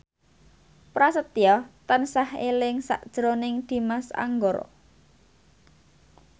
Prasetyo tansah eling sakjroning Dimas Anggara